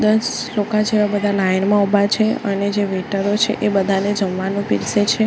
દસ લોકા જેવા બધા લાઇન મા ઉભા છે અને જે વેઇટરો છે એ બધાને જમવાનું પીરસે છે.